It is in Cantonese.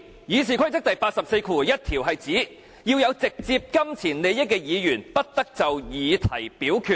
《議事規則》第841條是指，有直接金錢利益的議員，不得就議題表決。